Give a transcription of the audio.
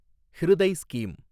Hriday scheme